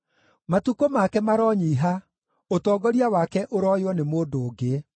Matukũ make maronyiiha; ũtongoria wake ũrooywo nĩ mũndũ ũngĩ.